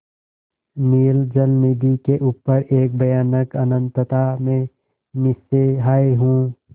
नील जलनिधि के ऊपर एक भयानक अनंतता में निस्सहाय हूँ